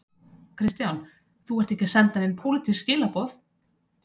Kristján: Þú ert ekki að senda nein pólitísk skilaboð?